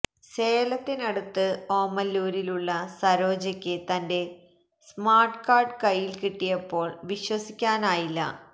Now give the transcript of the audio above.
സേലത്തിനടുത്ത് ഓമലൂരിലുള്ള സരോജയ്ക്ക് തന്റെ സ്മാര്ട്ട് കാര്ഡ് കയ്യില് കിട്ടിയപ്പോള് വിശ്വസിക്കാനിയില്ല